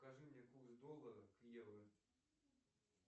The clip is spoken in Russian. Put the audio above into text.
покажи мне курс доллара к евро